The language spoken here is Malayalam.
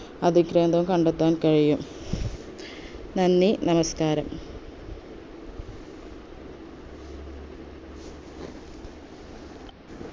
അതിക്രേന്ദം കണ്ടെത്താൻ കഴിയും നന്ദി നമസ്കാരം